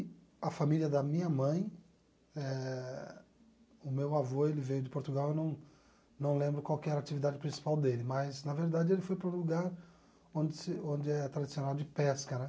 a família da minha mãe, eh o meu avô ele veio de Portugal, eu não não lembro qual que era a atividade principal dele, mas, na verdade, ele foi para um lugar onde se onde é tradicional de pesca, né?